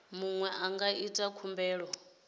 muṅwe a nga ita khumbelo